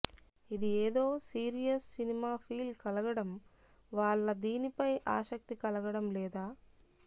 ఇది ఎదో serious cinema feel కలగడం వాళ్ళ దీనిపై ఆసక్తి కలగడం లేద